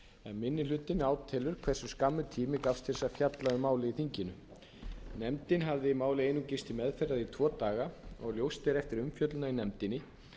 minni hlutinn átelur hversu skammur tími gafst til að fjalla um málið í þinginu nefndin hafði málið einungis til meðferðar í tvo daga og ljóst er eftir umfjöllunina í nefndinni